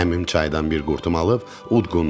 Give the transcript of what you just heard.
Əmim çaydan bir qurtum alıb udqundu.